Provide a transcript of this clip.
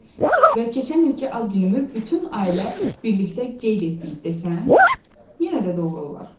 Və keçən ilki ad günümü bütün ailə birlikdə qeyd etdiyi desəm, yenə də doğru olar.